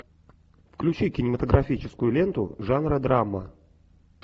включи кинематографическую ленту жанра драма